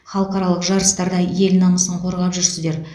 халықаралық жарыстарда ел намысын қорғап жүрсіздер